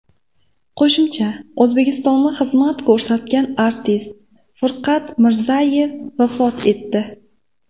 Qo‘shiqchi, O‘zbekistonda xizmat ko‘rsatgan artist Furqat Mirzayev vafot etdi.